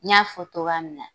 N y'a fɔ cogoya min na